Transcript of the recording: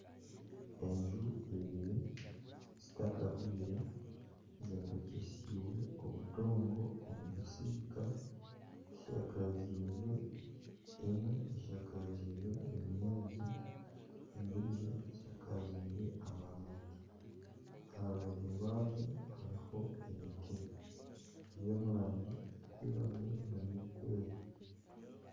Enju ibiri zitakahwire zombekyesibwe obudongo omu bisiika, emwe eshakazibwe ebinyaatsi endijo eshakazibwe amabaati aharubaju rwazo hariho emiti eri omu rangi erikwiragura nana erikwera.